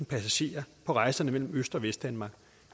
passagerer på rejserne mellem øst og vestdanmark